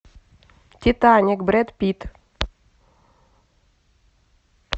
титаник брэд питт